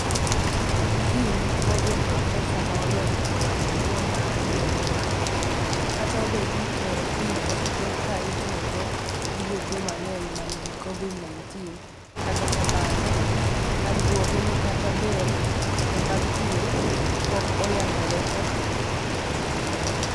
Kim woo joo profesa ma olony e wache tuo ma andore owacho: " kata obedo ni chloroquine osebet ka itiyo go gi jotuo mang'eny ma nigi kovid 19 kata kamano candruoge ne kata ber ne mag thieth pok oyagore kokalo kuom nonro.